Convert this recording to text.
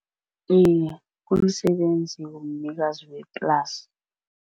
Iye, kumsebenzi womnikazi weplasi.